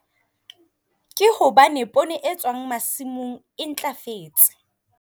Ke hobane pone e tswang masimong e ntlafetse.